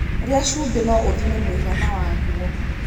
Rĩa cumbĩ no ũthime muigana waguo